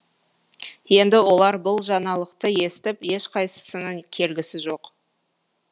енді олар бұл жаңалықты естіп ешқайсысының келгісі жоқ